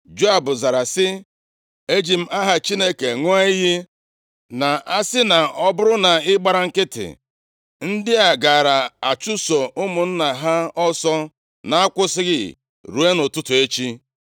Joab zara sị, “Eji m aha Chineke ṅụọ iyi na-asị na ọ bụrụ na i gbara nkịtị, ndị a gaara achụso ụmụnna ha ọsọ na-akwụsịghị ruo nʼụtụtụ echi.”